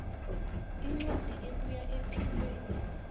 incwadi ebuya ephikweni